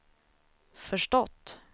förstått